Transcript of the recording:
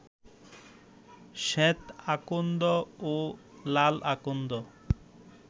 শ্বেত আকন্দ ও লাল আকন্দ